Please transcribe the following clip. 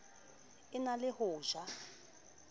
e na le ho ja